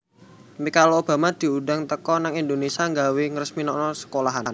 Michelle Obama diundang teko nang Indonesia gawe ngresmikno sekolahan